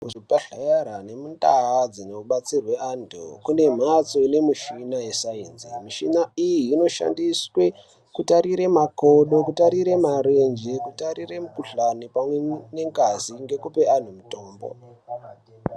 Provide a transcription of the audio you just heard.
Muzvibhedhlera nemundaa dzinobatsirwe anthu kune mhpatso ine mishina yesainzi. Mishina iyi inoshandiswe kutarira makodo, kutarire marenje, kutarire mukuhlani pamwe nengazi ngekupe anthu mutombo.